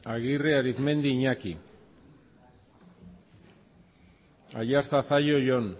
aguirre arizmendi iñaki aiartza zallo jon